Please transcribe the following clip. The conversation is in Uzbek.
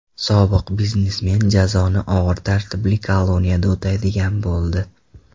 Sobiq biznesmen jazoni og‘ir tartibli koloniyada o‘taydigan bo‘ldi.